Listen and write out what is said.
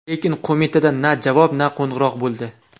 Lekin qo‘mitadan na javob, na qo‘ng‘iroq bo‘ldi.